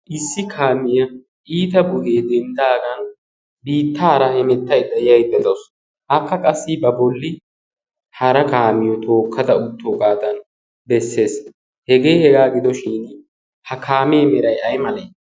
issi kaamiyaa iita buyee dendtaagan biittaara hemettaidda yaiddexoos haakka qassi ba bolli hara kaamiyo tookkada uttoogaadan bessees hegee hegaa gidoshin ha kaamee merai ai malee?